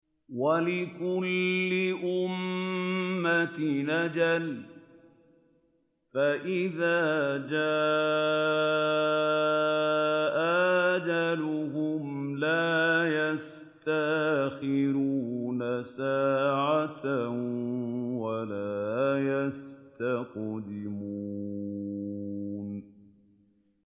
وَلِكُلِّ أُمَّةٍ أَجَلٌ ۖ فَإِذَا جَاءَ أَجَلُهُمْ لَا يَسْتَأْخِرُونَ سَاعَةً ۖ وَلَا يَسْتَقْدِمُونَ